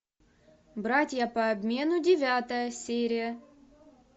братья по обмену девятая серия